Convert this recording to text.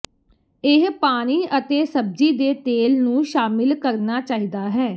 ਇਹ ਪਾਣੀ ਅਤੇ ਸਬਜ਼ੀ ਦੇ ਤੇਲ ਨੂੰ ਸ਼ਾਮਿਲ ਕਰਨਾ ਚਾਹੀਦਾ ਹੈ